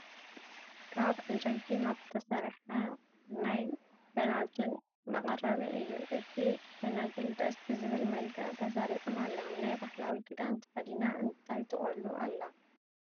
ካብ ዕንጨይቲ ካብ ዝተሰረሐ ናይ ፈናጅን መቀረቢ እዩ። እቱይ ፋናጅል ደስ ብዝብል መልክዕ ተሰሪዖም ኣለው። ናይ ባህላዊ ክዳን ተከዲና እንታይ ትቆሉ ኣላ?